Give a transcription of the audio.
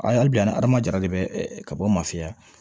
A hali bi an ma jara de bɛ ka bɔ o mafiya